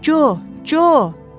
Co, Co.